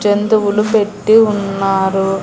జంతువులు పెట్టి ఉన్నారు.